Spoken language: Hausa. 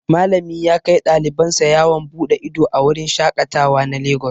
Malami yakai ɗaliban sa yawon bude ido a wurin shaƙatawa na lagos.